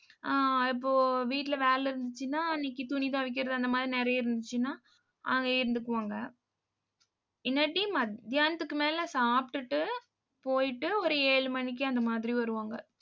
அஹ் இப்போ வீட்ல வேலை இருந்துச்சுன்னா அன்னைக்கு துணி துவைக்கிறது அந்த மாதிரி நிறைய இருந்துச்சுன்னா அங்கேயே இருந்துக்குவாங்க. இல்லாட்டி மத்தியானத்துக்கு மேல சாப்பிட்டுட்டு போயிட்டு ஒரு ஏழு மணிக்கு அந்த மாதிரி வருவாங்க